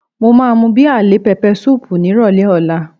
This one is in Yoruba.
Mo máa mú bíà lé pẹpẹ súùpù nírọ̀lẹ́ ọ̀la